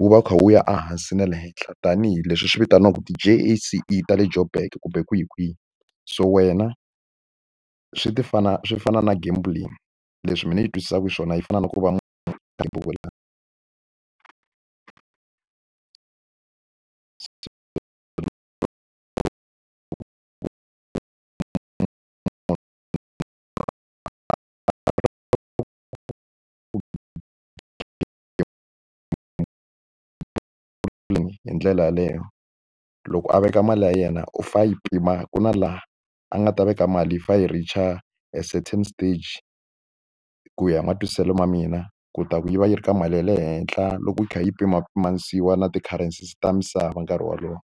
wu va wu kha wu ya ehansi na le henhla tanihileswi swi vitaniwaku ta le Joburg kumbe kwihi kwihi so wena swi ti fana swi fana na game leswi mina yi twisisaku xiswona yi fana na ku va hi ndlela yaleyo loko a veka mali ya yena u fa yi pima ku na laha a nga ta veka mali yi fa yi reach-a a certain stage ku ya hi matwisiselo ya mina ku ta ku yi va yi ri ka mali ya le henhla loko yi kha yi pimapimanisiwa na ti-currencies ta misava nkarhi wolowo.